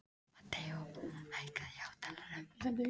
Mateó, hækkaðu í hátalaranum.